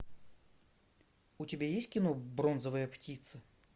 у тебя есть кино бронзовая птица